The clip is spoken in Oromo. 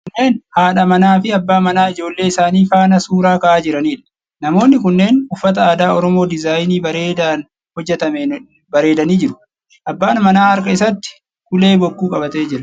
Kunneen haadha manaa fi abbaa manaa ijoollee isaanii faana suura ka'aa jiraniidha. Namoonni kunneen uffata aadaa oromoo diizaayinii bareedaan hojjatameen bareedanii jiru. Abbaan manaa harka isaatti ulee bokkuu qabatee jira.